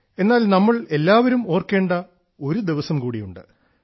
എന്നാൽ നമ്മൾ എല്ലാവരും ഓർക്കേണ്ട ഒരുദിവസം കൂടിയുണ്ട്